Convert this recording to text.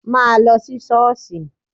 Má lọ sí ṣọ́ọ̀ṣì!